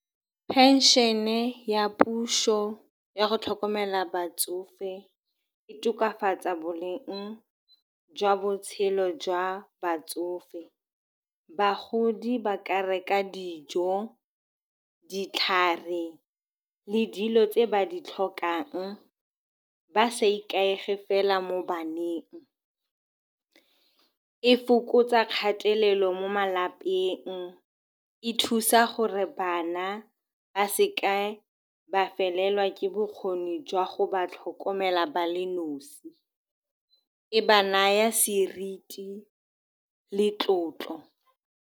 Pension-e ya puso ya go tlhokomela batsofe e tokafatsa boleng jwa botshelo jwa batsofe. Bagodi ba ka reka dijo, ditlhare le dilo tse ba di tlhokang ba sa ikaege fela mo baneng. E fokotsa kgatelelo mo malapeng, e thusa gore bana ba seka ba felelwa ke bokgoni jwa go ba tlhokomela ba le nosi. E ba naya seriti le tlotlo.